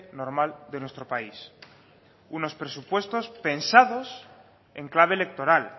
normal de nuestro país unos presupuestos pensados en clave electoral